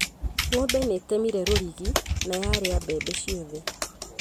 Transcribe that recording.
Ng'ombe nĩ ĩtemiire rũrigi na yarĩa mbembe ciothe